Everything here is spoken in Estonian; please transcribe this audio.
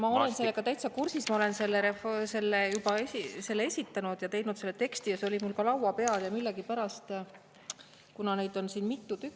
Ma olen sellega täitsa kursis, ma olen selle juba esitanud ja teinud selle teksti ja see oli mul ka laua peal ja millegipärast, kuna neid on siin mitu tükki …